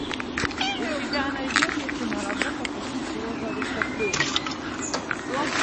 у тебя найдется киноработа по типу розовых соплей что